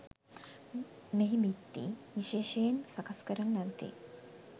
මෙහි බිත්ති විශේෂයෙන් සකස් කරන ලද්දේ